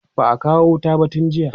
ba'a kawo wuta ba tun jiya